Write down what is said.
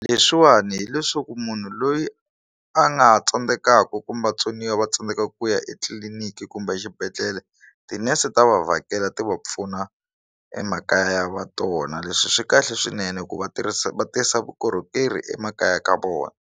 Leswiwani hileswaku munhu loyi a nga ha tsandzekaka kumbe vatsoniwa va tsandzeka ku ya etliliniki kumbe exibedhlele tinese ta va vhakela ti va pfuna emakaya va tona leswi swi kahle swinene ku va tirhisa va tisa vukorhokeri emakaya ka vona.